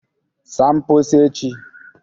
saa mposi echi